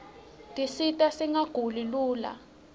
tisita singaguli lula